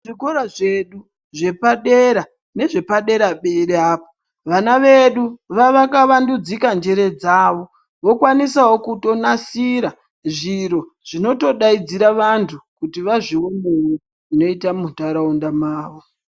Zvikora zvedu zvepadera nezvepadera-dera apo, vana vedu vavakavandudzika njere dzavo, vokwanisawo kutonasira, zviro zvinotodaidzira vantu ,kuti vazvionere zvinoita muntaraunda mavo.